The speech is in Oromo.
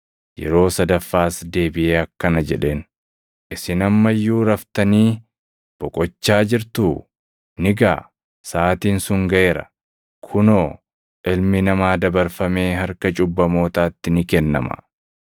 Yeroo sadaffaas deebiʼee akkana jedheen; “Isin amma iyyuu raftanii boqochaa jirtuu? Ni gaʼa! Saʼaatiin sun gaʼeera. Kunoo, Ilmi Namaa dabarfamee harka cubbamootaatti ni kennama.